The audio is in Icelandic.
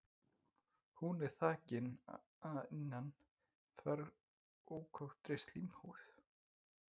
Hún er þakin að innan þverrákóttri slímhúð.